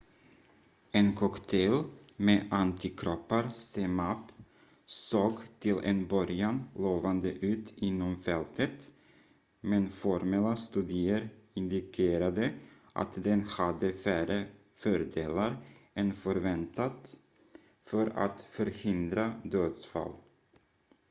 en cocktail med antikroppar zmapp såg till en början lovande ut inom fältet men formella studier indikerade att den hade färre fördelar än förväntat för att förhindra dödsfall